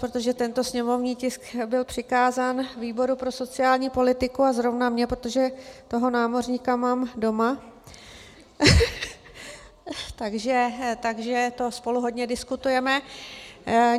Protože tento sněmovní tisk byl přikázán výboru pro sociální politiku a zrovna mně, protože toho námořníka mám doma, takže to spolu hodně diskutujeme.